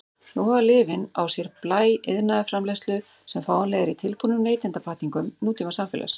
Nú hafa lyfin á sér blæ iðnaðarframleiðslu sem fáanleg er í tilbúnum neytendapakkningum nútímasamfélags.